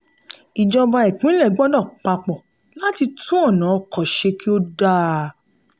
ìjọba ìpínlẹ̀ gbọ́dọ̀ papọ̀ láti tún ọ̀nà ọkọ̀ ṣe kí ó dáa.